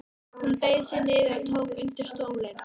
Hún beygði sig niður og tók undir stólinn.